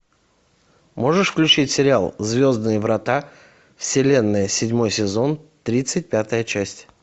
можешь включить сериал звездные врата вселенная седьмой сезон тридцать пятая часть